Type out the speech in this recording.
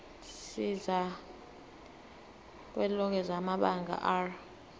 sikazwelonke samabanga r